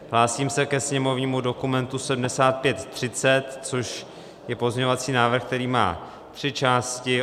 Hlásím se ke sněmovnímu dokumentu 7530, což je pozměňovací návrh, který má tři části.